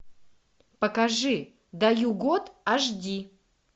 покажи даю год аш ди